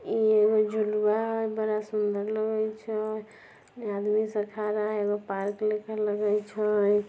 इ एगो झुलुआ हई बड़ा सुंदर लगाई छए इहाँ आदमी सब खाड़ा हई एगो पार्क लेखा लगे छए।